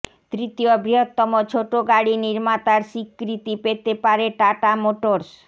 তৃতীয় বৃহত্তম ছোটো গাড়ি নির্মাতার স্বীকৃতি পেতে পারে টাটা মোটরস